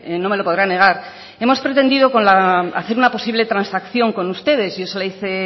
no me lo podrá negar hemos pretendido hacer una posible transacción con ustedes y yo se lo hice